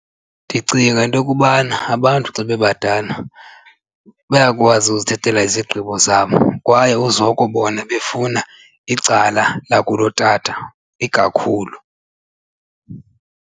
Ndicinga into yokubana abantu xa bebadala bayakwazi uzithathela izigqibo zabo kwaye uzokubona befuna icala lakulotata ikakhulu.